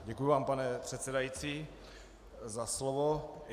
Děkuji vám, pane předsedající, za slovo.